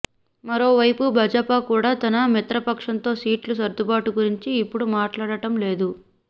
మరోవైపు భాజపా కూడా తన మిత్రపక్షాలతో సీట్ల సర్దుబాటు గురించి ఇప్పుడు మాట్లాడటం లేదు